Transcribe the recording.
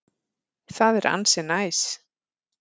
Það er ansi næs.